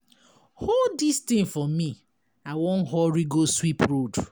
Hold dis thing for me, I wan hurry go sweep road.